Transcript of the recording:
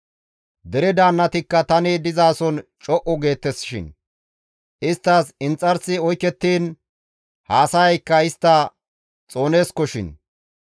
Dere daannatikka tani dizason co7u geettesishin; isttas inxarsi oykettiin haasayaykka istta xooneeskoshin.